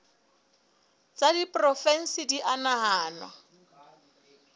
tsa diporofensi di a nahanwa